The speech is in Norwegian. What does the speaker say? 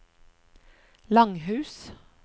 Langhus